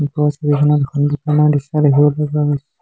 ওপৰৰ ছবিখনত দুখন দোকানৰ দৃশ্য দেখিবলৈ পোৱা গৈছে।